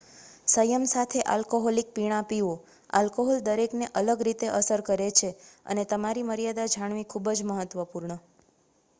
સંયમ સાથે આલ્કોહોલિક પીણાં પીવો આલ્કોહોલ દરેકને અલગ રીતે અસર કરે છે અને તમારી મર્યાદા જાણવી ખૂબ જ મહત્વપૂર્ણ